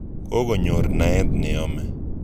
Kokonyor naet neyome.